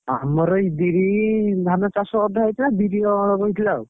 ଆମର ଏଇ ବିରି ଧାନ ଚାଷ ଅଧା ହେଇଥିଲା ବିରି ଅଳ୍ପ ହେଇଥିଲା ଆଉ।